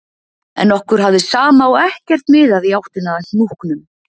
En okkur hafði sama og ekkert miðað í áttina að hnúknum